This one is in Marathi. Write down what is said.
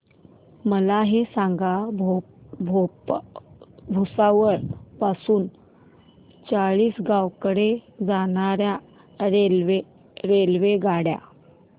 मला हे सांगा भुसावळ पासून चाळीसगाव कडे जाणार्या रेल्वेगाडी